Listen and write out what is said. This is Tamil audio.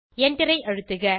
enter ஐ அழுத்துக